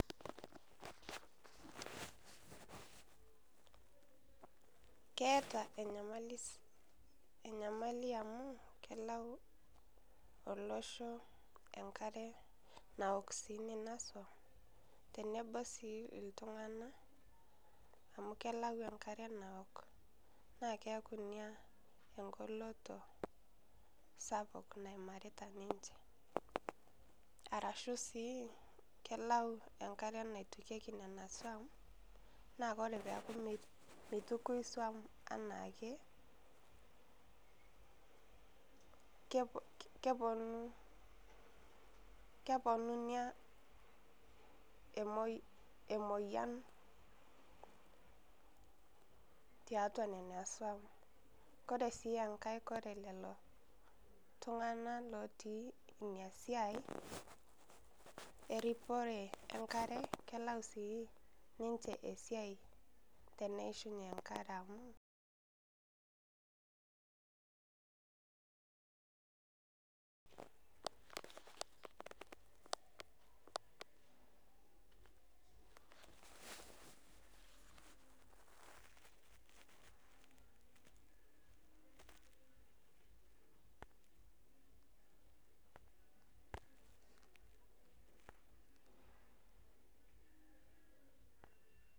Keeta enyamali amuu kelau olosho enkare naoki sii nena suam tenebo sii iltunganak amu kelau enkariak naawok. Naa keaku ina engoloto sapuk naimarita ninche. Arashu sii kelau ninche enkare naitukuyieki nena swuam naa ore peyie eaku meitukui iswuam anake, keponu ina emoyian tiatua nina swuam. Ore enkae ore lelo tunganak otii inasiai eripore enkare kelau sii ninche esiai teneishunye enkare